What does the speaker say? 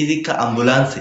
izikka ambulantse